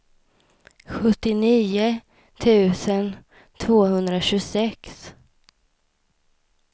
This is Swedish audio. sjuttionio tusen tvåhundratjugosex